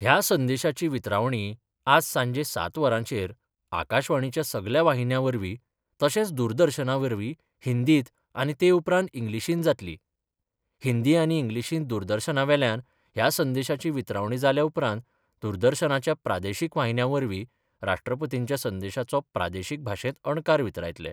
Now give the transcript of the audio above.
ह्या संदेशाची वितरावणी आज सांजे सात वरांचेर आकाशवाणीच्या सगल्या वाहिन्यांवरवीं, तशेच दूरदर्शनावरवीं हिंदींत आनी ते उपरांत इंग्लिशींत जातली हिंदी आनी इंग्लिशींत दूरदर्शनावेल्यान ह्या संदेशाची वितरावणी जाल्या उपरांत दूरदर्शनाच्या प्रादेशीक वाहिन्यांवरवीं राष्ट्रपतींच्या संदेशाचो प्रादेशीक भाशेंत अणकार वितरायतले.